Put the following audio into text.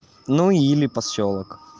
ну или посёлок